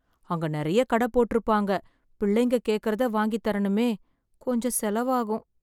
அங்க நெறைய கடை போட்டிருப்பாங்க, பிள்ளைங்க கேக்கறத வாங்கித்தரணுமே. கொஞ்சம் செலவாகும்.